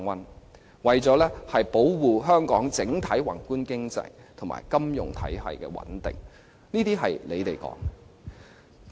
政府說這是為了保護香港整體宏觀經濟及金融體系的穩定。